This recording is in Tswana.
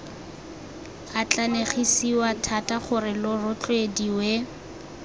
atlanegisiwa thata gore lo rotloediwe